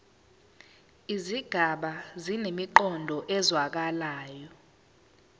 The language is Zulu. izigaba zinemiqondo ezwakalayo